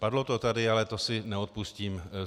Padlo to tady, ale to si neodpustím.